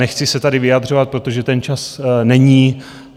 Nechci se tady vyjadřovat, protože ten čas není.